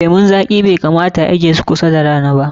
Lemun zaƙi bai kamata a ajiye su karkashin rana ba.